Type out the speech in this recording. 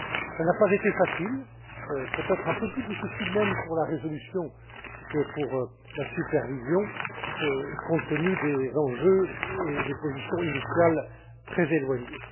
Cela n'a pas été facile, peut être un peu plus difficile même pour la résolution que pour la supervision, compte tenu des enjeux et des positions initiales très éloignées.